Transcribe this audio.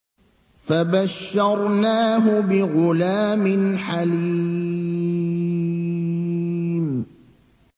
فَبَشَّرْنَاهُ بِغُلَامٍ حَلِيمٍ